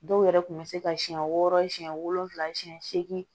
Dɔw yɛrɛ kun bɛ se ka siɲɛ wɔɔrɔ siɲɛ wolonwula siɲɛ seegin